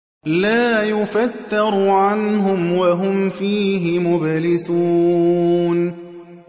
لَا يُفَتَّرُ عَنْهُمْ وَهُمْ فِيهِ مُبْلِسُونَ